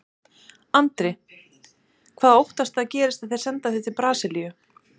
Andri: Hvað óttastu að gerist ef þeir senda þig til Brasilíu?